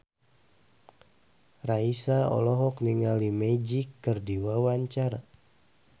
Raisa olohok ningali Magic keur diwawancara